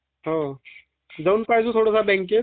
हो, हो. मी थोड़ीफार माहिती पण घेऊन घेईल.